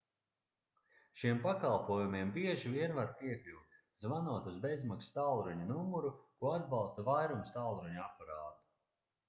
šiem pakalpojumiem bieži vien var piekļūt zvanot uz bezmaksas tālruņa numuru ko atbalsta vairums tālruņa aparātu